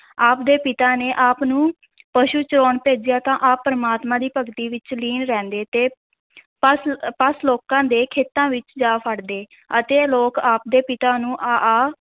ਆਪ ਦੇ ਪਿਤਾ ਨੇ ਆਪ ਨੂੰ ਪਸ਼ੂ ਚਰਾਉਣ ਭੇਜਿਆ ਤਾਂ ਆਪ ਪ੍ਰਮਾਤਮਾ ਦੀ ਭਗਤੀ ਵਿੱਚ ਲੀਨ ਰਹਿੰਦੇ ਤੇ ਪਸ਼ ਪਸ਼ ਲੋਕਾਂ ਦੇ ਖੇਤਾਂ ਵਿੱਚ ਜਾ ਵੜਦੇ ਅਤੇ ਲੋਕ ਆਪ ਦੇ ਪਿਤਾ ਨੂੰ ਆ ਆ